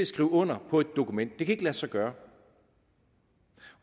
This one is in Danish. skrive under på et dokument det kan ikke lade sig gøre